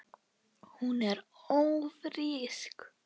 Hún er ÓFRÍSK!